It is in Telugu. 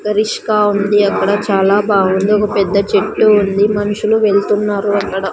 రిష్కా ఉంది అక్కడ చాలా బాగుంది ఒక పెద్ద చెట్టు ఉంది మనుషులు వెళ్తున్నారు అక్కడ--